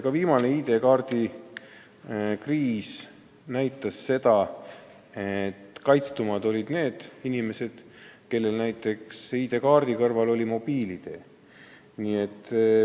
Ka viimane ID-kaardi kriis näitas seda, et kaitstumad olid need inimesed, kes kasutasid ID-kaardi kõrval näiteks mobiil-ID-d.